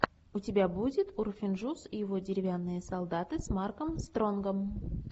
у тебя будет урфин джюс и его деревянные солдаты с марком стронгом